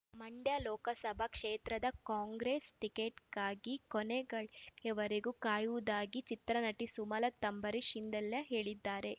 ಮಂಡ್ಯ ಲೋಕಸಭಾ ಕ್ಷೇತ್ರದ ಕಾಂಗ್ರೆಸ್ ಟಿಕೆಟ್‌ಗಾಗಿ ಕೊನೆ ಗಳಿಗೆಯವರೆಗೂ ಕಾಯುವುದಾಗಿ ಚಿತ್ರನಟಿ ಸುಮಲತ್ ಅಂಬರೀಶ್ ಇಂದೆಲ್ಲೆ ಹೇಳಿದ್ದಾರೆ